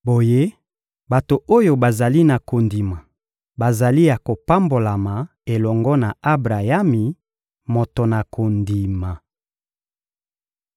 Boye, bato oyo bazali na kondima bazali ya kopambolama elongo na Abrayami, moto na kondima.